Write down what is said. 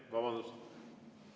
Vabandust!